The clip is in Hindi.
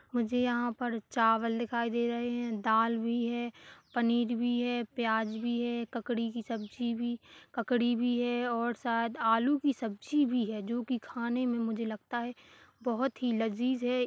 मुझे यहाँ पर चावल दिखाई दे रहे है दाल भी है पनीर भी है प्याज भी है ककड़ी की सब्जी भी ककड़ी भी है और शायद आलू की सब्जी भी है जो कि खाने में मुझे लगता है बहोत ही लजीज है।